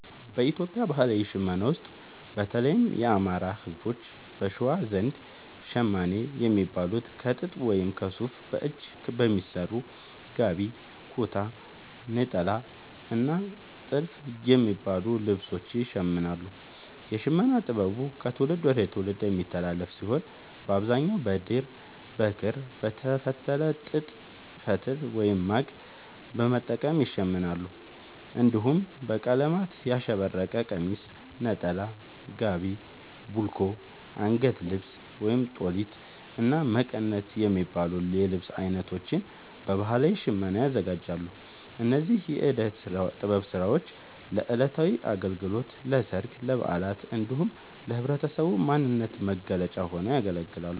በኢትዮጵያ ባህላዊ ሽመና ውስጥ፣ በተለይም የአማራ፣ ህዝቦች(በሸዋ) ዘንድ ‘ሸማኔ’ የሚባሉት ከጥጥ ወይም ከሱፍ በእጅ በሚሰሩ ‘ጋቢ’፣ ‘ኩታ’፣ ‘ኔጣላ’ እና ‘ቲልፍ’ የሚባሉ ልብሶችን ይሽምናሉ። የሽመና ጥበቡ ከትውልድ ወደ ትውልድ የሚተላለፍ ሲሆን፣ በአብዛኛው በድር፣ በክር፣ በተፈተለ ጥጥ ፈትል(ማግ) በመጠቀም ይሸምናሉ። እንዲሁም በቀለማት ያሸበረቀ ቀሚስ፣ ነጠላ፣ ጋቢ፣ ቡልኮ፣ አንገት ልብስ(ጦሊት)፣እና መቀነት የሚባሉ የልብስ አይነቶችን በባህላዊ ሽመና ያዘጋጃሉ። እነዚህ የእደ ጥበብ ስራዎች ለዕለታዊ አገልግሎት፣ ለሠርግ፣ ለበዓላት እንዲሁም ለህብረተሰቡ ማንነት መገለጫ ሆነው ያገለግላሉ።